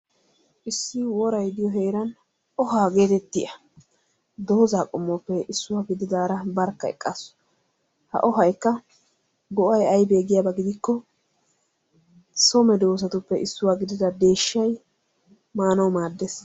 issi woray diyo heeran ohaa giyo miyiya barkka eqaasu. ha ohaykka go'ay aybee giyaba gidikko, so mehetuppe issuwa gidida deeshay maanawu maadees.